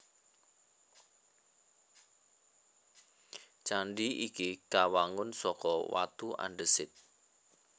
Candhi iki kawangun saka watu andhesit